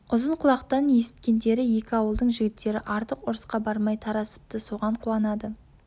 ұзын құлақтан есіткендері екі ауылдың жігіттері артық ұрысқа бармай тарасыпты соған қуанады